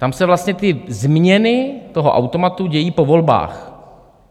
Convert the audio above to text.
Tam se vlastně ty změny toho automatu dějí po volbách.